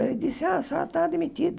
Ele disse, ah, a senhora está demitida.